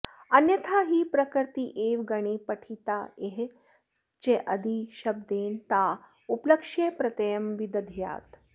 अन्यथा हि प्रकृतीरेव गणे पठित्वेह चादिशब्देन ता उपलक्ष्य प्रत्ययं विदध्यात्